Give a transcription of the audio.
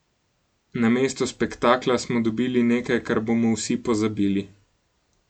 Namesto spektakla smo dobili nekaj, kar bomo vsi pozabili.